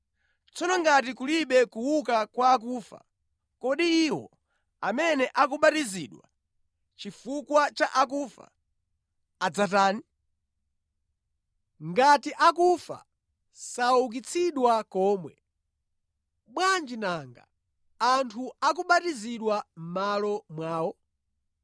Tsono ngati kulibe kuuka kwa akufa, kodi iwo amene akubatizidwa chifukwa cha akufa, adzatani? Ngati akufa saukitsidwa nʼkomwe, bwanji nanga anthu akubatizidwa mʼmalo mwawo?